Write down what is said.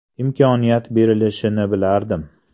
Imkoniyat berilishini bilardim.